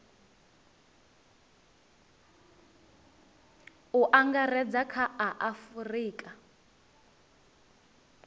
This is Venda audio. u angaredza kha a afurika